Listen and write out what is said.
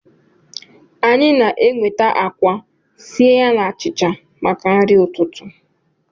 Anyị na-enweta akwa sie ya na achịcha maka nri ụtụtụ